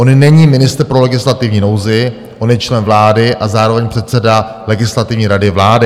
On není ministr pro legislativní nouzi, on je člen vlády a zároveň předseda Legislativní rady vlády.